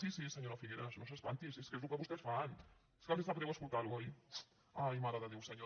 sí sí senyora figueras no s’espanti si és que és el que vostès fan és que els sap greu escoltar ho oi ai mare de déu senyor